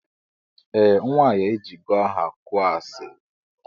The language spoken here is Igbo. Eeh nwanyi ejigo aha kụọ asili.